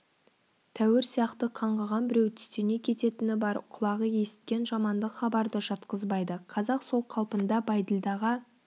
тәуір сияқты қаңғыған біреу түстене кететіні бар құлағы есіткен жамандық хабарды жатқызбайды қазақ сол қалпында бәйділдаға